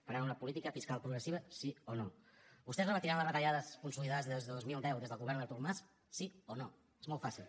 faran una política fiscal progressiva sí o no vostès rebatran les retallades consolidades des del dos mil deu des del govern d’artur mas sí o no és molt fàcil